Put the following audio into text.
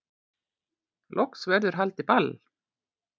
Loks verður haldið ball